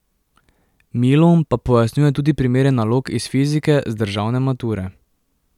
Milun pa pojasnjuje tudi primere nalog iz fizike z državne mature.